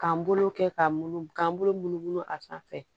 K'an bolo kɛ ka munumunu k'an bolo munu munu a sanfɛ